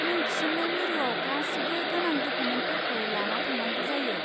मुं थिसन्नाय मिरुआव गासिबो गोनां डकुमेन्टफोरखौ लाना थांनांगौ जायो।